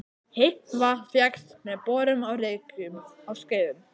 Heitt vatn fékkst með borun á Reykjum á Skeiðum.